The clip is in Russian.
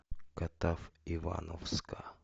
катав ивановска